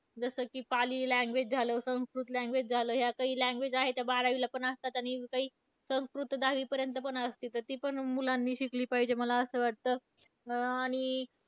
जसं की पाली language झालं, संस्कृत language झालं. या काही language आहेत ज्या बारावीला पण असतात. आणि काही संस्कृत तर दहावीपर्यंत पण असते तर ती पण मुलांनी शिकली पाहिजे मला असं वाटतं. अं आणि